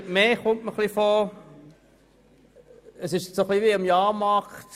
Es kommt mir ein wenig vor wie auf einem Jahrmarkt.